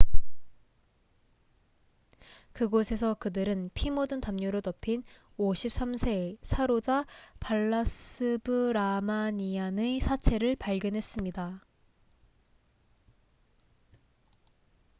그곳에서 그들은 피 묻은 담요로 덮인 53세의 사로자 발라스브라마니안 saroja balasubramanian의 사체를 발견했습니다